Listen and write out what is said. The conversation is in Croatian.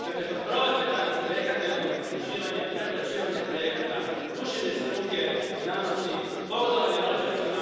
Dakle, kod provedbe takvih projekata imamo podmićivanje, preplaćivanje projekata, gušenje struke i znanosti, pogodovanje rođacima.